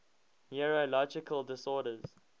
neurological disorders